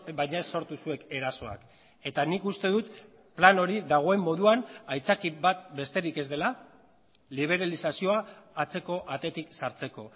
baina ez sortu zuek erasoak eta nik uste dut plan hori dagoen moduan aitzaki bat besterik ez dela liberalizazioa atzeko atetik sartzeko